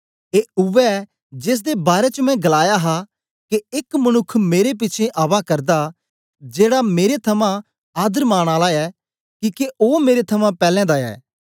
ए उवै जेसदे बारै च मैं गलाया हा के एक मनुक्ख मेरे पिछें आवा करदा जेड़ा मेरे थमां आदरमान आला ऐ किके ओ मेरे थमां पैलैं दा ऐ